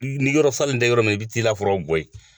Niyɔrɔ salen dɛ yɔrɔ min i bɛ t'i la foro bɔ yen.